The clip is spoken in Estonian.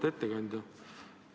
Auväärt ettekandja!